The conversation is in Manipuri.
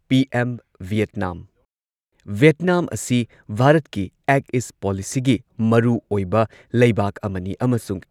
ꯄꯤꯑꯦꯝ ꯚꯤꯌꯦꯠꯅꯥꯝ- ꯚꯤꯌꯦꯠꯅꯥꯝ ꯑꯁꯤ ꯚꯥꯔꯠꯀꯤ ꯑꯦꯛ ꯏꯁ ꯄꯣꯂꯤꯁꯤꯒꯤ ꯃꯔꯨꯑꯣꯏꯕ ꯂꯩꯕꯥꯛ ꯑꯃꯅꯤ ꯑꯃꯁꯨꯡ